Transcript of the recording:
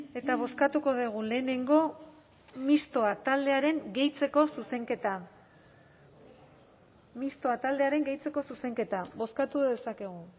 eta bozkatuko dugu lehenengo mistoa taldearen gehitzeko zuzenketa bozkatu dezakegu